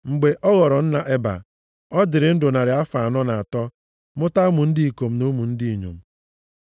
Mgbe ọ ghọrọ nna Eba, ọ dịrị ndụ narị afọ anọ na atọ, mụta ụmụ ndị ikom na ụmụ ndị inyom.